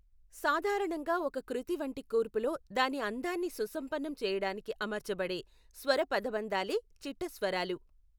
సాధారణంగా ఒక కృతి వంటి కూర్పులో దాని అందాన్ని సుసంపన్నం చేయడానికి అమర్చబడే స్వర పదబంధాలే చిట్టస్వరాలు.